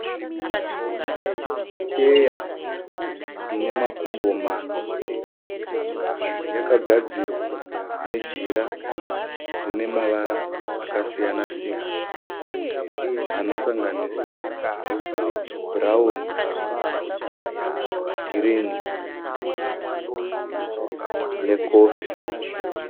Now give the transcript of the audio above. Cheya ine makumbo mana. Yakagadzirwa nejira rine mavara akasiyana siyana anosanganisira bhurawuni, girinhi nekofi.